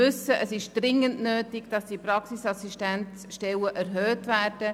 Es ist dringend nötig, dass die Zahl der Praxisassistenzstellen erhöht wird.